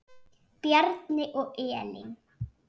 Bjarni og Elín.